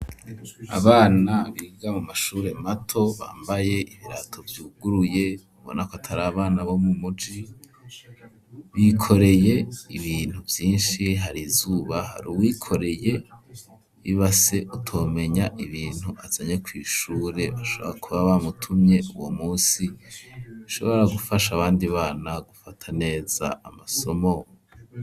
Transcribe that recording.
abana biga mu mashure mato bambaye ibirato vyuguruye ubona ko atari abana bo mu muji, bikoreye ibintu vyinshi hari izuba hari uwikoreye ibase utomenya ibintu azanye kw,ishure bishoboka kuba bamutumye uwo munsi, bishobora gufasha abandi bana gufata neza amasomo.